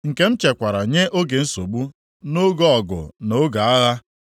nke m chekwara nye oge nsogbu, nʼoge ọgụ na nʼoge agha?